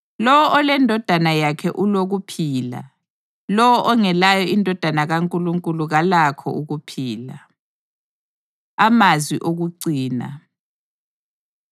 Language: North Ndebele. Lowo oleNdodana yakhe ulokuphila; lowo ongelayo iNdodana kaNkulunkulu kalakho ukuphila. Amazwi Okucina